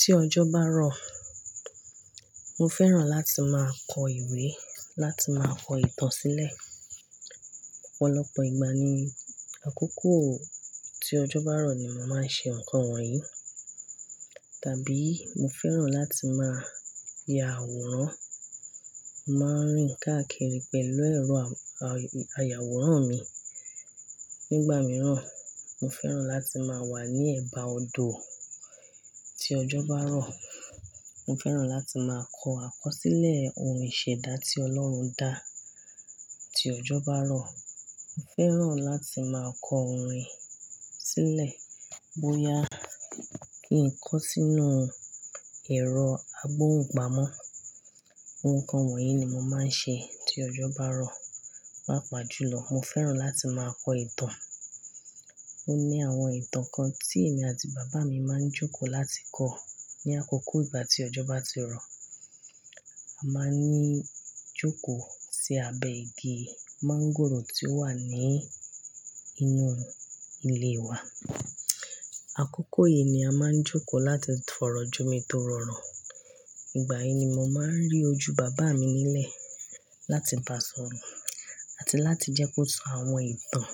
Tí ọjọ́ bá rọ̀, mo fẹ́ràn láti máa kọ ìwé, láti máa kọ ìtàn sílẹ̀. Ọ̀pọ̀lọpọ̀ ìgbà ni àkókò tí ọjọ́ bá rọ̀ ni mo máa ń ṣe nǹkan wọ̀nyí. Tàbí mo fẹ́ràn láti máa ya àwòrán. Mo máa ń rìn káàkiri pẹ̀lú ẹ̀rọ ayàwòrán mi. Nígbà mìíràn, mo fẹ́ràn láti máa wà ní ẹ̀bá odò. Tí ọjọ́ bá rọ̀, mo fẹ́ràn láti máa kọ akọsílẹ̀ ohun ìṣẹ̀dá tí Ọlọ́run dá. Tí ọjọ́ bá rọ̀, mo fẹ́ràn láti máa kọ ohun rìn sílẹ̀ bóyá kí n kọ sínú ẹ̀rọ agbóhùn gbàmọ̀. Nǹkan wọ̀nyí ni mo máa ń ṣe tí ọjọ́ bá rọ̀. Papàjùlọ, mo fẹ́ràn láti máa kọ ìtàn. Óní àwọn ìtàn kan tí èmi àti bàbá mi máa ń jókòó láti kọ̀ ní àkókò ìgbà tí ọjọ́ bá ti rọ̀. A máa ń jókòó sí abẹ́ igi máńgòrò tí ó wà ní inú ilé wa. Àkókò yìí ni a máa ń jókòó láti fọ̀rọ̀ jomitó oro. Ìgbà yìí ni mo máa ń rí ojú bàbá mi nílẹ̀ láti bá sọ̀rọ̀ àti láti jẹ́ kó sọ àwọn ìtàn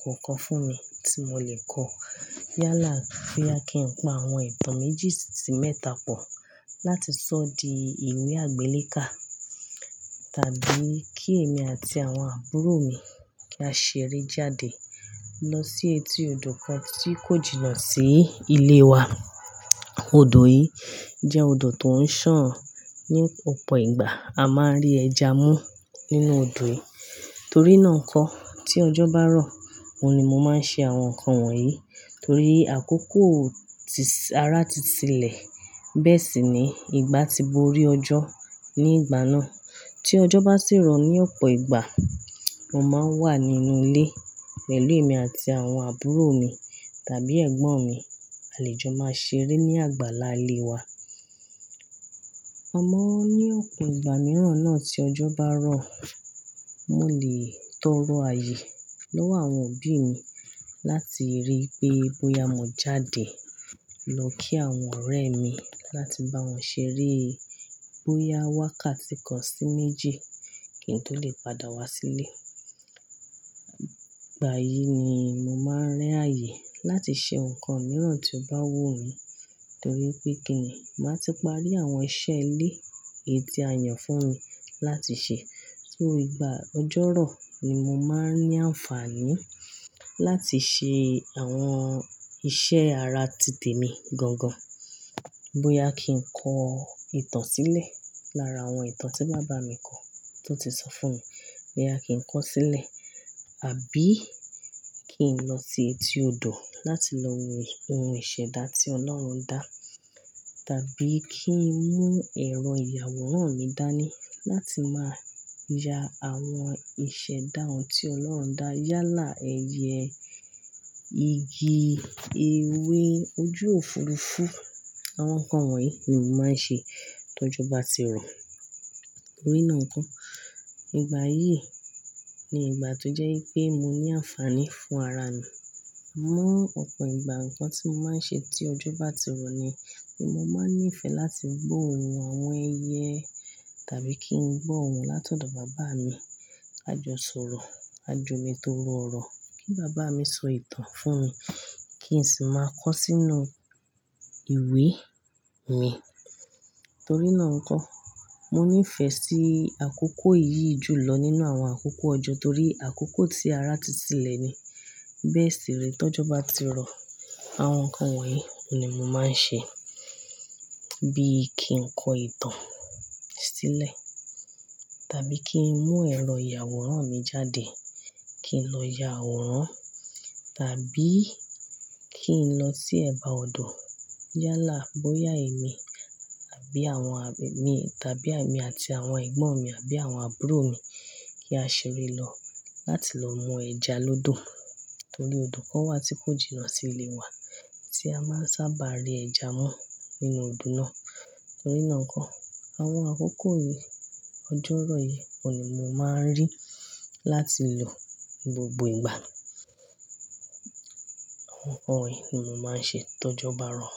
kọ̀ọ̀kan fún mi tí mo lè kọ. Yálà bóyá kí n pa àwọn ìtàn méjì sí ì mẹ́ta pọ̀ láti sọ di ìwé àgbéléka, tàbí kí èmi àti àwọn àbúrò mi kí á ṣeré jáde lọ sí etí odò kan tí kò jìnnà sí ilé wa. Odò yìí jẹ́ odò tó ń sàn. Ní ọ̀pọ̀ ìgbà, a máa ń rí ẹja mú nínú odò yìí. Torí náà n kọ́ tí ọjọ́ bá rọ̀, oun ni mo máa ń ṣe àwọn nǹkan wọ̀nyí. Torí àkókò tí-- ara ti sílẹ̀ bẹ́ẹ̀ sì ni ìgbà tí bo rí ọjọ́ ní ìgbà náà. Tí ọjọ́ bá sì rọ̀ ní ọ̀pọ̀ ìgbà, mo máa ń wà nínú ilé pẹ̀lú emi àti àwọn àbúrò mi tàbí ẹ̀gbọ́n mi. Àle jò máa ṣeré ní àgbàlá ilé wa. Ama ní ọ̀pọ̀ ìgbà mìíràn náà tí ọjọ́ bá rọ̀. Mo lè tọrọ àyè lọ́wọ́ àwọn òbí mi láti rí pé bóyá mo jáde lọ kí àwọn ọ̀rẹ́ mi láti bá wọn ṣeré, bóyá wákàtí kan sí méjì kí n tó lè padà wá sílé. Ìgbà yìí ni mo máa ń ri àyè láti ṣe nǹkan mìíràn tí ó bá wù mí torí pé kíni, màá ti parí àwọn iṣẹ́ ilé, eyi ti a yàn fún mi láti ṣe. So ìgbà ọjọ́ rọ̀ ni mo máa ń ní àǹfààní láti ṣe àwọn iṣẹ́ ara ti tèmi gangan. Bóyá kí n kọ ìtàn sílẹ̀ lára àwọn ìtàn tí bàbá mi kọ tó ti sọ fún mi, bóyá kí n kọ sílẹ̀, àbí kí n lọ sí etí odò láti lọ wo ohun ìṣẹ̀dá tí Ọlọ́run dá, tàbí kí n mú ẹ̀rọ iyàwòrán mi dání láti máa ya àwọn ìṣẹ̀dá ohun tí Ọlọ́run dá, yálà ẹyẹ, igi, ewé, ojú òfuurufú. Àwọn nǹkan wọ̀nyí ni mo máa ń ṣe tí ọjọ́ bá ti rọ̀. Torí náà nkọ́, ìgbà yìí ni ìgbà tó jẹ́ pé mo ní àǹfààní fún ara mi. Àmọ́ ọ̀pọ̀ ìgbà nǹkan tí mo máa ń ṣe tí ọjọ́ bá ti rọ̀ ni pé mo máa ń nífẹ̀ẹ́ láti gbó ohùn àwọn ẹyẹ tàbí kí n gbó ohùn látọ̀dọ̀ bàbá mi. A jọ sọ̀rọ̀, a jo mi tórọ oro kí bàbá mi sọ ìtàn fún mi kí n sì máa kọ sínú ìwé mi. Torí ná nkọ́, mo nífẹ̀ẹ́ sí àkókò yìí jù lọ nínú àwọn àkókò ọjọ́ torí àkókò tí ara ti sílẹ̀ ni. Bẹ́ẹ̀ sì re, tí ọjọ́ bá ti rọ̀, àwọn nǹkan wọ̀nyí ni mo máa ń ṣe. Bí i kí n kọ ìtàn sílẹ̀, tàbí kí n mú ẹ̀rọ iyàwòrán mi jáde, kí n lọ ya àwòrán, tàbí kí n lọ sí ẹ̀bá odò yálà bóyá èmi àbí àwọn à-- mi tàbí èmi àti àwọn ẹ̀gbọ́n mi àbí àwọn àbúrò mi kí á ṣeré lọ láti lọ mú ẹja lọ́dọ̀. Torí odò kan wà tí kò jìnnà sí ilé wa tí a máa ń sábà rí ẹja mú nínú odò náà. Torí náà kọ́, àwọn àkókò yìí, ọjọ́ rọ̀ yìí oun ni mo máa ń rí láti lò ní gbogbo ìgbà. Àwọn nǹkan wọ̀nyí ni mo máa ń ṣe tọjọ́ bá rọ̀.